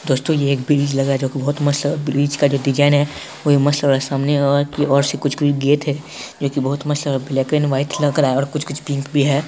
दोस्तों ये एक ब्रिज लग रहा है जो की बहुत मस्त है ब्रिज का जो डिजाइन है वो भी मस्त लग रहा है सामने और की और से कुछ-कुछ गेट है जो कि बहुत मस्त लग रहा ब्लैक एंड वाइट लग रहा है और कुछ-कुछ पिंक भी है।